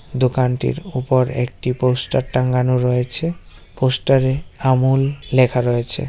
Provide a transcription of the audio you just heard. দোকানটির ওপর একটি পোস্টার টাঙ্গানো রয়েছে পোস্টার এ আমূল লেখা রয়েছে।